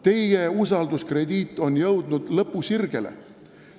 Teie usalduskrediit on jõudnud lõpusirgele.